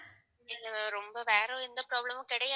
இதுல ரொம்ப வேற எந்த problem மும் கிடையாது.